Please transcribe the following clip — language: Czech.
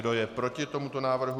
Kdo je proti tomuto návrhu?